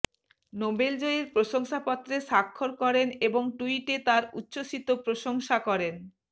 নোবেলজয়ীর প্রশংসাপত্রে স্বাক্ষর করেন এবং ট্যুইটে তাঁর উচ্ছ্বসিত প্রশংসা করেন